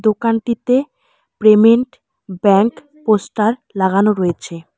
দোকানটিতে payment bank poster লাগানো রয়েছে।